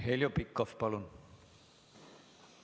Heljo Pikhof, palun!